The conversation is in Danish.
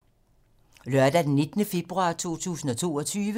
Lørdag d. 19. februar 2022